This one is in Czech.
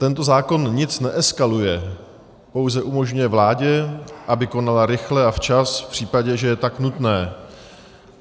Tento zákon nic neeskaluje, pouze umožňuje vládě, aby konala rychle a včas v případě, že je tak nutné.